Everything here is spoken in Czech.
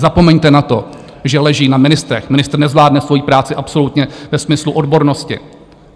Zapomeňte na to, že leží na ministrech, ministr nezvládne svoji práci absolutně ve smyslu odbornosti.